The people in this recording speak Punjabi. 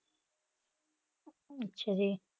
ਅੱਛਾ ਜੀ।